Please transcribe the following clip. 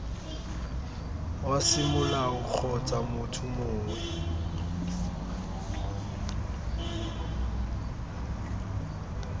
wa semolao kgotsa motho mongwe